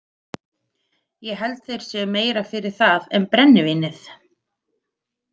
Ég held þeir séu meira fyrir það en brennivínið.